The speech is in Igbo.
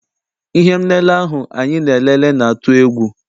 Ihe m lele ahụ anyị na-elele na-atụ egwu.